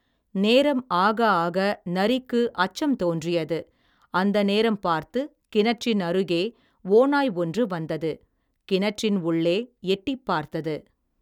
நேரம் ஆக ஆக நரிக்கு அச்சம் தோன்றியது அந்த நேரம் பார்த்துக் கிணற்றின் அருகே ஓநாய் ஒன்று வந்தது கிணற்றின் உள்ளே எட்டிப் பார்த்தது.